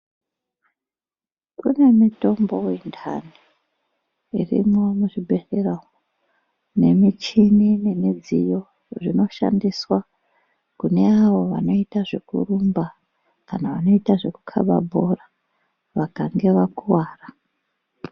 Kune mitombo yendani irimwo muzvibhedhlera umwu nemishini nemidziyo zvinoshandiswa, kune avo vanoita zvekurumba. Kana vanoita zvekukaba bhora vakange vakuvara.